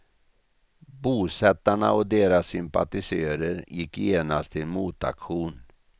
Bosättarna och deras sympatisörer gick genast till motaktion.